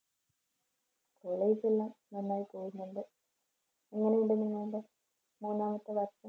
college എല്ലാം നന്നായി പോകുന്നുണ്ട്. എങ്ങനെയുണ്ട് നിങ്ങൾടെ മൂന്നാമത്തെ വർഷം?